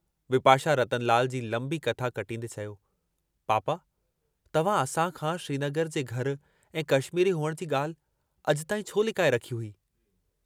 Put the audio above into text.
विपाशा रतनलाल जी लंबी कथा कटींदे चयो, पापा तव्हां असां खां श्रीनगर जे घर ऐं कश्मीरी हुअण जी ॻाल्हि अॼु ताईं छो लिकाए रखी हुई।